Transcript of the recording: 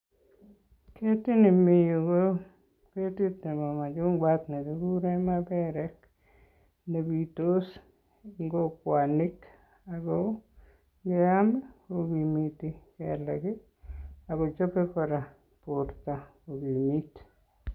Ketit nemi yu ko ketit nebo machungwat nekikure maperek nepitos eng kokwanik ako ngeam kokimiti kelek ako chopei kora borto kokimit.